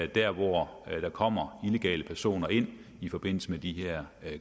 der hvor der kommer illegale personer ind i forbindelse med de her